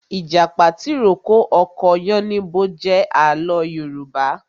Ìjàpá tìrókó ọkọ yánníbo jẹ àlọ́ Yorùbá